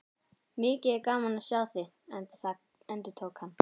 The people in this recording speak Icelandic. Mikið er gaman að sjá þig, endurtók hann.